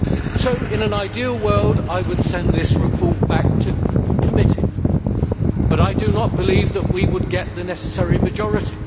So, in an ideal world, I would send this report back to committee but I do not believe we would get the necessary majority.